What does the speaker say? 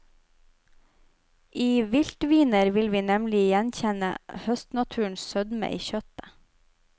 I viltviner vil vi nemlig gjenkjenne høstnaturens sødme i kjøttet.